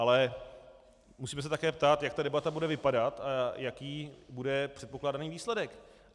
Ale musíme se také ptát, jak ta debata bude vypadat a jaký bude předpokládaný výsledek.